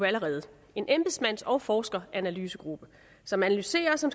allerede en embedsmands og forskeranalysegruppe som analyserer og som